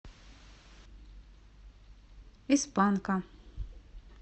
из панка